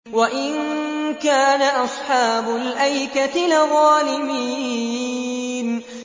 وَإِن كَانَ أَصْحَابُ الْأَيْكَةِ لَظَالِمِينَ